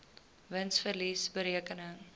wins verlies bereken